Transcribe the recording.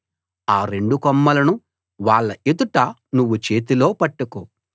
ఆ రెండు కొమ్మలను వాళ్ళ ఎదుట నువ్వు చేతిలో పట్టుకో